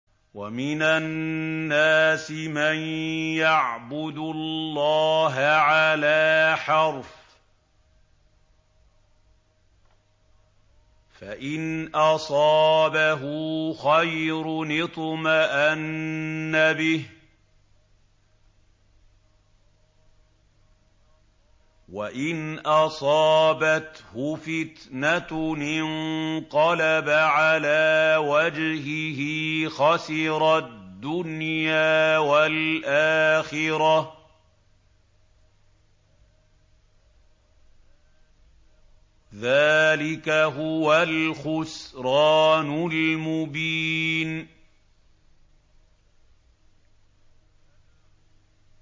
وَمِنَ النَّاسِ مَن يَعْبُدُ اللَّهَ عَلَىٰ حَرْفٍ ۖ فَإِنْ أَصَابَهُ خَيْرٌ اطْمَأَنَّ بِهِ ۖ وَإِنْ أَصَابَتْهُ فِتْنَةٌ انقَلَبَ عَلَىٰ وَجْهِهِ خَسِرَ الدُّنْيَا وَالْآخِرَةَ ۚ ذَٰلِكَ هُوَ الْخُسْرَانُ الْمُبِينُ